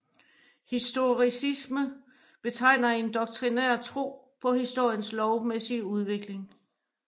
Historicisme betegner en doktrinær tro på historiens lovmæssige udvikling